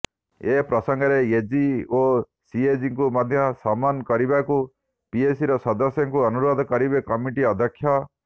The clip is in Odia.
ଏ ପ୍ରସଙ୍ଗରେ ଏଜି ଓ ସିଏଜିଙ୍କୁ ମଧ୍ୟ ସମନ କରିବାକୁ ପିଏସିର ସଦସ୍ୟଙ୍କୁ ଅନୁରୋଧ କରିବେ କମିଟି ଅଧ୍ୟକ୍ଷ